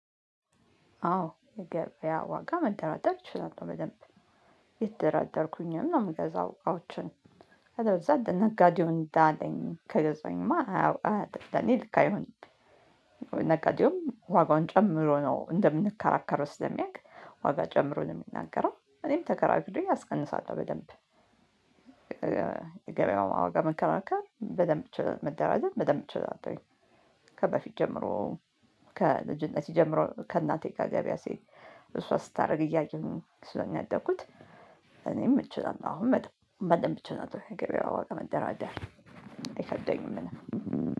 አዎ የገበያ ዋጋ መደራደር እችላለሁ በደንብ የተደራደርኩኝን ነው የምገዛው። አዎችን ከዛ ነጋዴው እንዳለኝ ከገዛኝማ አዎ እኔ ልካ አይሆንም። ነጋዴውም ዋጋውን ጨምሮ ነው እንደምንከራከር ውስጥ ስለሚያውቅ ዋጋ ጨምሮ ነው የሚናገረው እኔም ተከራክሎ ያስቀንሳል። በደንብ ገበያው አዋጋ መከራከር በደንብ መደራዘት በደንብ ችግር አትወይ? ከበፊት ጀምሮ ከልጅነት ጀምሮ ከእናቴ ከገበያ ገበያ ሴት እሷ ስታደርግ እያየሁኝ ስለሚያደኩት። እኔም እችላለሁ አሁን መጥፎ በአንድ ብቻ ነው ገበያው አዋቂ መደራደር አይከደኝም።